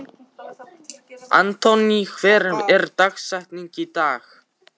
Anthony, hver er dagsetningin í dag?